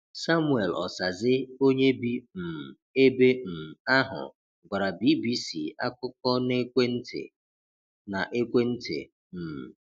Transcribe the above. Samuel Osaze onye bi um ebe um ahụ gwara BBC akụkọ na ekwentị. na ekwentị. um